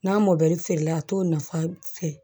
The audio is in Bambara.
N'a mɔdɛli feere la a t'o nafa fɛ